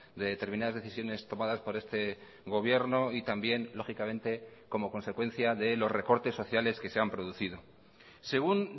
de determinadas decisiones tomadas por este gobierno y también lógicamente como consecuencia de los recortes sociales que se han producido según